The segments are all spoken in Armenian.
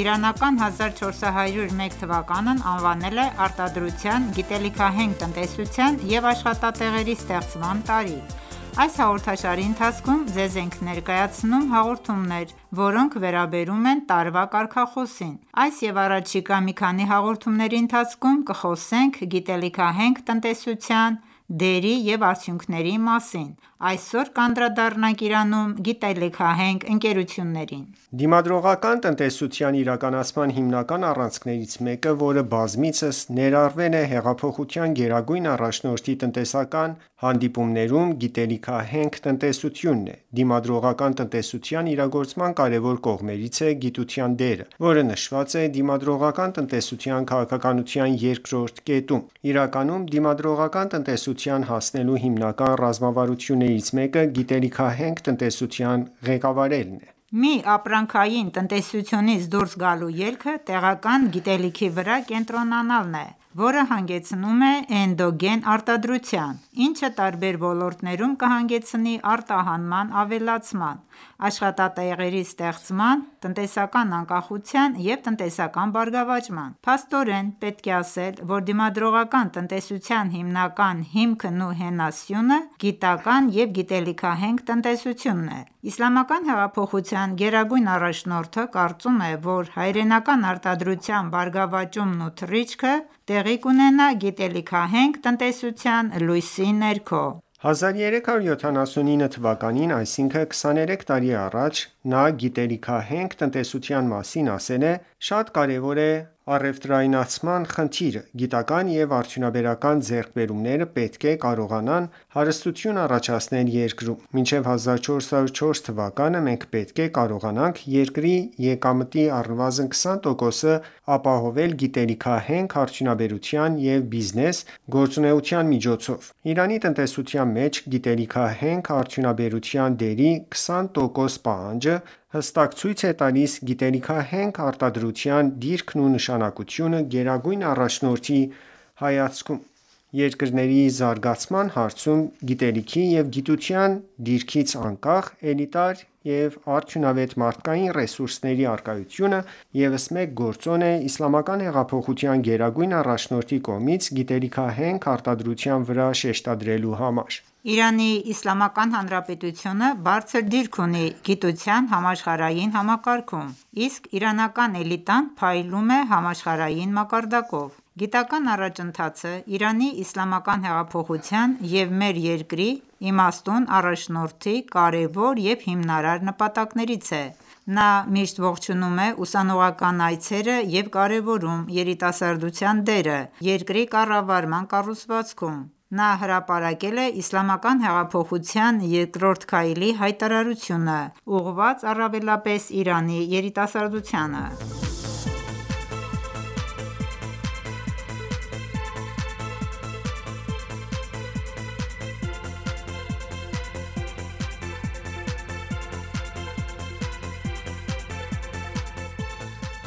իրանական 1401 թվականն անվանել է «Արտադրության, գիտելիքահենք տնտեսության և աշխատատեղերի ստեղծման տարի»։ Այս հաղորդաշարի ընթացքում ձեզ ենք ներկայացնում հաղորդումներ, որոնք վերաբերում են տարվա կարգախոսին: Այս և առաջիկա մի քանի հաղորդումների ընթացքում կխոսենք գիտելիքահենք տնտեսության դերի և արդյունքների մասին:Այսօր կանդրադառնանք Իրանում գիտելիքահենք ընկերություններին: Դիմադրողական տնտեսության իրականացման հիմնական առանցքներից մեկը, որը բազմիցս ներառվել է հեղափոխության գերագույն առաջնորդի տնտեսական հանդիպումներում, գիտելիքահենք տնտեսությունն է։ Դիմադրողական տնտեսության իրագործման կարևոր կողմերից է գիտության դերը, որը նշված է դիմադրողական տնտեսության քաղաքականության երկրորդ կետում։ Իրականում դիմադրողական տնտեսության հասնելու հիմնական ռազմավարություններից մեկը գիտելիքահենք տնտեսության ղեկավարելն է։ Միապրանքային տնտեսությունից դուրս գալու ելքը տեղական գիտելիքի վրա կենտրոնանալն է, որը հանգեցնում է էնդոգեն արտադրության, ինչը տարբեր ոլորտներում կհանգեցնի արտահանման ավելացման, աշխատատեղերի ստեղծման, տնտեսական անկախության և տնտեսական բարգավաճման: Փաստորեն, պետք է ասել, որ դիմադրողական տնտեսության հիմնական հիմքն ու հենասյունը գիտական ​​և գիտելիքահենք տնտեսությունն է։ Իսլամական հեղափոխության գերագույն առաջնորդը կարծում է, որ հայրենական արտադրության բարգավաճումն ու թռիչքը տեղի կունենա գիտելիքահենք տնտեսության լույսի ներքո: 1379 թվականին, այսինքն՝ 23 տարի առաջ, նա գիտելիքահենք տնտեսության մասին ասել է.«Շատ կարեւոր է առևտրայնացման խնդիրը։ Գիտական ​​և արդյունաբերական ձեռքբերումները պետք է կարողանան հարստություն առաջացնել երկրում։ Մինչեւ 1404 թվականը մենք պետք է կարողանանք երկրի եկամտի առնվազն 20 տոկոսը ապահովել գիտելիքահենք արդյունաբերության եւ բիզնես գործունեության միջոցով»: Իրանի տնտեսության մեջ գիտելիքահենք արդյունաբերության դերի 20 տոկոս պահանջը հստակ ցույց է տալիս գիտելիքահենք արտադրության դիրքն ու նշանակությունը Գերագույն առաջնորդի հայացքում: Երկրների զարգացման հարցում գիտելիքի և գիտության դիրքից անկախ, էլիտար և արդյունավետ մարդկային ռեսուրսների առկայությունը ևս մեկ գործոն է Իսլամական հեղափոխության գերագույն առաջնորդի կողմից գիտելիքահենք արտադրության վրա շեշտադրելու համար: Իրանի Իսլամական Հանրապետությունը բարձր դիրք ունի գիտության համաշխարհային համակարգում, իսկ իրանական էլիտան փայլում է համաշխարհային մակարդակով։ Գիտական ​​առաջընթացը Իրանի իսլամական հեղափոխության և մեր երկրի իմաստուն առաջնորդի կարևոր և հիմնարար նպատակներից է: Նա միշտ ողջունում է ուսանողական այցերը և կարևորում երիտասարդության դերը երկրի կառավարման կառուցվածքում Նա հրապարակել է Իսլամական հեղափոխության երկրորդ քայլի հայտարարությունը` ուղղված առավելապես Իրանի երիտասարդությանը։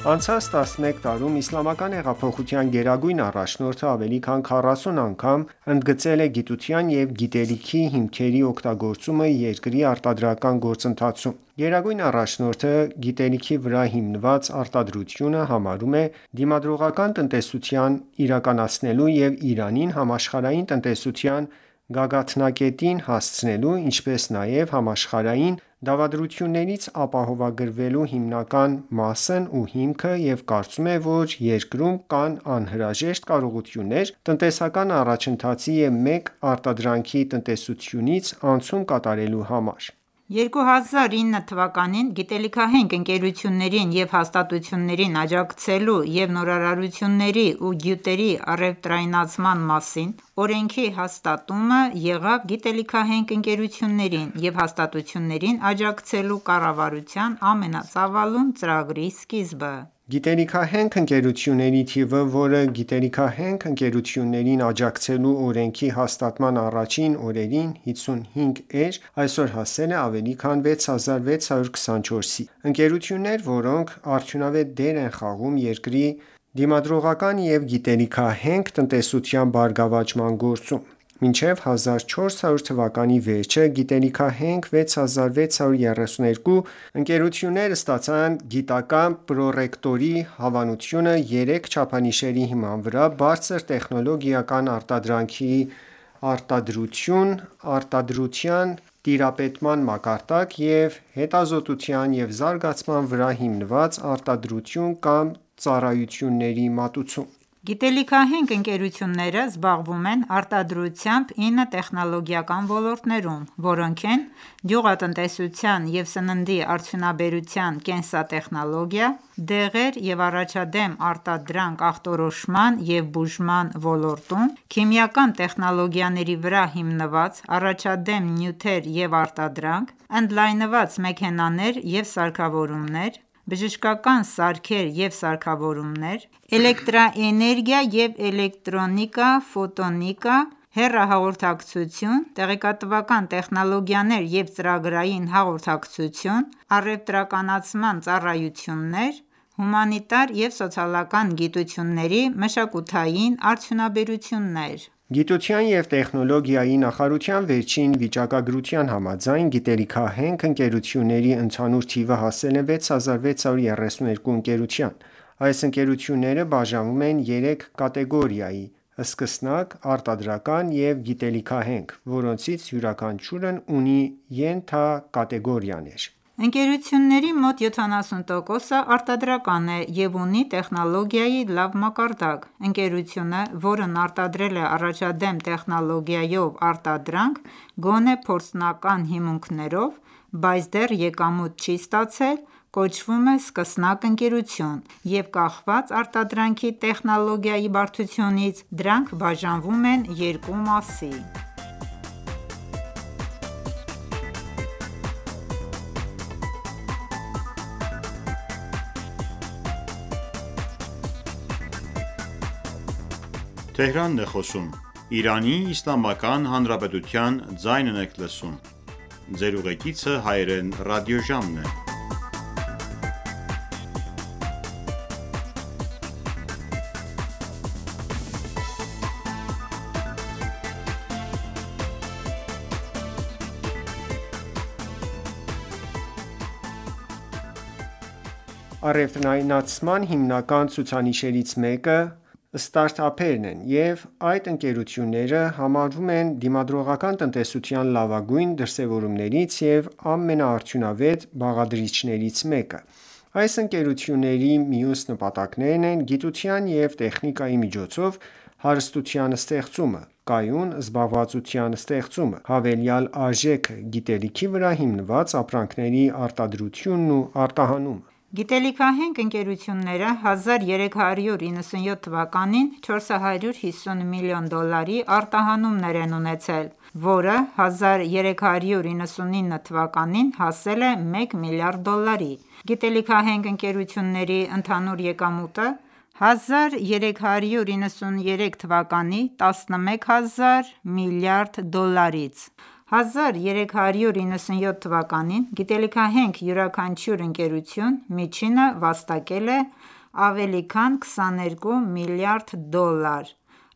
Անցած 11 տարում Իսլամական հեղափոխության գերագույն առաջնորդը ավելի քան 40 անգամ ընդգծել է գիտության և գիտելիքի հիմքերի օգտագործումը երկրի արտադրական գործընթացում: Գերագույն առաջնորդը գիտելիքի վրա հիմնված արտադրությունը համարում է դիմադրողական տնտեսություն իրականացնելու և Իրանին համաշխարհային տնտեսության գագաթնակետին հասցնելու, ինչպես նաև համաշխարհային դավադրություններից ապահովագրելու հիմնական մասն ու հիմքը և կարծում է, որ երկրում կան անհրաժեշտ կարողություններ տնտեսական առաջընթացի և մեկ արտադրանքի տնտեսությունից անցում կատարելու համար։ 2009 թվականին «Գիտելիքահենք ընկերություններին և հաստատություններին աջակցելու և նորարարությունների ու գյուտերի առևտրայնացման մասին» օրենքի հաստատումը եղավ գիտելիքահենք ընկերություններին և հաստատություններին աջակցելու կառավարության ամենածավալուն ծրագրի սկիզբը։ Գիտելիքահենք ընկերությունների թիվը, որը գիտելիքահենք ընկերություններին աջակցելու օրենքի հաստատման առաջին օրերին 55 էր, այսօր հասել է ավելի քան 6624-ի։ Ընկերություններ, որոնք արդյունավետ դեր են խաղում երկրի դիմադրողականության և գիտելիքահենք տնտեսության բարգավաճման գործում։ Մինչև 1400 թվականի վերջը գիտելիքահենք 6632 ընկերություններ ստացան գիտական ​​պրոռեկտորի հավանությունը 3 չափանիշների հիման վրա՝ «բարձր տեխնոլոգիական արտադրանքի արտադրություն», «արտադրության տիրապետման մակարդակ» և հետազոտության և զարգացման վրա հիմնված «արտադրություն կամ ծառայությունների մատուցում»: Գիտելիքահենք ընկերությունները զբաղվում են արտադրությամբ 9 տեխնոլոգիական ոլորտներում, որոնք են.«Գյուղատնտեսության և սննդի արդյունաբերության կենսատեխնոլոգիա», «Դեղեր և առաջադեմ արտադրանք ախտորոշման և բուժման ոլորտում», «Քիմիական տեխնոլոգիաների վրա հիմնված առաջադեմ նյութեր և արտադրանք», «Ընդլայնված մեքենաներ և սարքավորումներ», «Բժշկական սարքեր և սարքավորումներ», «Էլեկտրաէներգիա և էլեկտրոնիկա» Հեռահաղորդակցություն, «Տեղեկատվական տեխնոլոգիաներ և ծրագրային հաղորդակցություն», «Առևտրականացման ծառայություններ», «Հումանիտար և սոցիալական գիտությունների մշակութային արդյունաբերություններ»։ Գիտության և տեխնոլոգիայի նախաարարության վերջին վիճակագրության համաձայն՝ գիտելիքահենք ընկերությունների ընդհանուր թիվը հասել է 6632 ընկերության։ Այս ընկերությունները բաժանվում են երեք կատեգորիայի՝ սկսնակ, արտադրական և գիտելիքահենք, որոնցից յուրաքանչյուրն ունի ենթակատեգորիաներ։ Ընկերությունների մոտ 70%-ը արտադրական է և ունի տեխնոլոգիայի լավ մակարդակ։ Ընկերությունը, որն արտադրել է առաջադեմ տեխնոլոգիայով արտադրանք գոնե փորձնական հիմունքներով, բայց դեռ եկամուտ չի ստացել, կոչվում է սկսնակ ընկերություն և կախված արտադրանքի տեխնոլոգիայի բարդությունից՝ դրանք բաժանվում են երկու մասի: Գիտելիքի վրա հիմնված տնտեսությունում առաջադեմ երկրների՝ նոր ապրանքների առևտրայնացման հիմնական ցուցիչներից մեկը ստարտափերն են, և այդ ընկերությունները համարվում են դիմադրողական տնտեսության լավագույն դրսեւորումներից և ամենաարդյունավետ բաղադրիչներից մեկը։ Այս ընկերությունների մյուս նպատակներն են գիտության և տեխնիկայի միջոցով հարստության ստեղծումը, կայուն զբաղվածության ստեղծումը, հավելյալ արժեքը, գիտելիքի վրա հիմնված ապրանքների արտադրությունն ու արտահանումը։ Գիտելիքահենք ընկերությունները 1397 թվականին 450 միլիոն դոլարի արտահանումներ են ունեցել, որը 1399 թվականին հասել է մեկ միլիարդ դոլարի։ Գիտելիքահենք ընկերությունների ընդհանուր եկամուտը 1393 թվականի 11 հազար միլիարդ դրամից 1397 թվականին հասել է 90 հազար միլիարդի։ 1397-ին գիտելիքահենք յուրաքանչյուր ընկերություն միջինը վաստակել է ավելի քան 22 մլրդ դոլար։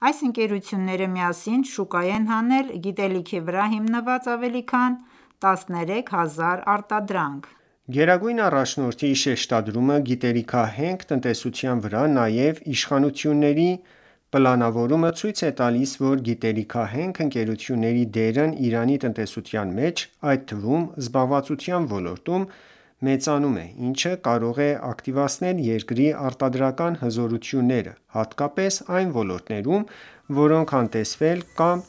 Այս ընկերությունները միասին շուկա են հանել գիտելիքի վրա հիմնված ավելի քան 13000 արտադրանք: Գերագույն առաջնորդի շեշտադրումը գիտելիքահենք տնտեսության վրա նաև իշխանությունների պլանավորումը ցույց է տալիս, որ գիտելիքահենք ընկերությունների դերն Իրանի տնտեսության մեջ, այդ թվում՝ զբաղվածության ոլորտում, մեծանում է, ինչը կարող է ակտիվացնել երկրի արտադրական հզորությունները, հատկապես այն ոլորտներում, որոնք անտեսվել են կամ